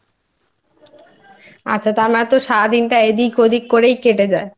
আচ্ছা তা নয়ত সারাদিনটা তোর এদিক ওদিক করেই কেটে যায়?